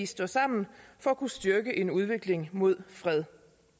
stå sammen for at kunne styrke en udvikling imod fred